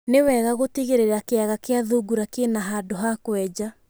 Nĩ wega gũtigĩrĩra kĩaga kĩa thungura kĩna handũ ha kwenja.